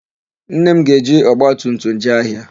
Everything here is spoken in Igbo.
Nne m ga-eji ọgbatumtum jee ahịa.